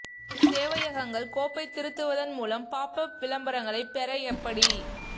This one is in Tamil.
சேவையகங்கள் கோப்பை திருத்துவதன் மூலம் பாப் அப் விளம்பரங்களை பெற எப்படி